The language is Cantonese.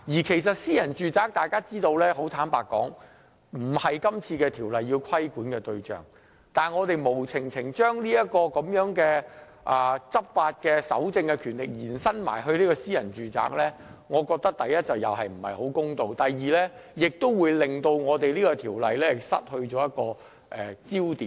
坦白說，大家知道私人住宅並非《條例草案》規管的對象，現時建議把執法、搜證的權力延伸至私人住宅，第一，這不太公道；第二，這可能會令到《條例草案》失去了焦點。